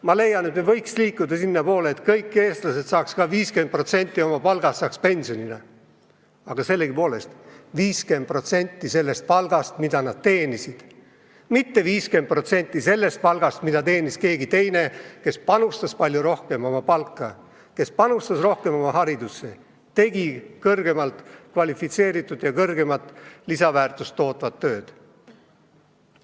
Ma leian, et me võiks liikuda sinnapoole, et kõik Eesti inimesed saaks pensionile jäädes 50% palgast, aga just nimelt 50% sellest palgast, mida nad teenisid, mitte 50% sellest palgast, mida teenis keegi teine, kes panustas palju rohkem oma kõrgemasse palka, kes panustas rohkem oma haridusse, tegi kõrgemalt kvalifitseeritud ja suuremat lisandväärtust tootvat tööd.